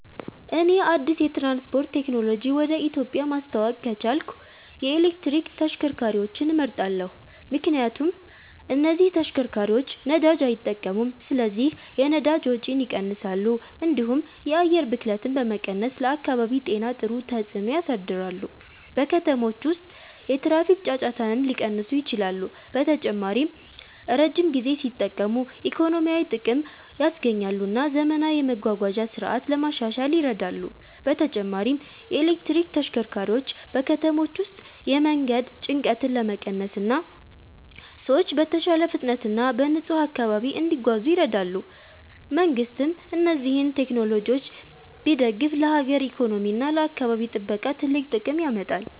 እኔ አዲስ የትራንስፖርት ቴክኖሎጂ ወደ ኢትዮጵያ ማስተዋወቅ ከቻልኩ የኤሌክትሪክ ተሽከርካሪዎችን እመርጣለሁ። ምክንያቱም እነዚህ ተሽከርካሪዎች ነዳጅ አይጠቀሙም ስለዚህ የነዳጅ ወጪን ይቀንሳሉ፣ እንዲሁም የአየር ብክለትን በመቀነስ ለአካባቢ ጤና ጥሩ ተጽዕኖ ያሳድራሉ። በከተሞች ውስጥ የትራፊክ ጫጫታንም ሊቀንሱ ይችላሉ። በተጨማሪም ረጅም ጊዜ ሲጠቀሙ ኢኮኖሚያዊ ጥቅም ያስገኛሉ እና ዘመናዊ የመጓጓዣ ስርዓት ለማሻሻል ይረዳሉ። በተጨማሪም የኤሌክትሪክ ተሽከርካሪዎች በከተሞች ውስጥ የመንገድ ጭንቀትን ለመቀነስ እና ሰዎች በተሻለ ፍጥነት እና በንጹህ አካባቢ እንዲጓዙ ይረዳሉ። መንግሥትም እነዚህን ቴክኖሎጂዎች ቢደግፍ ለሀገር ኢኮኖሚ እና ለአካባቢ ጥበቃ ትልቅ ጥቅም ያመጣል።